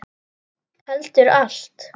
Heldur allt.